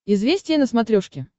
известия на смотрешке